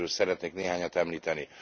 Ezek közül szeretnék néhányat említeni.